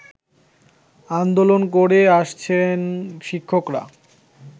আন্দোলন করে আসছেন শিক্ষকরা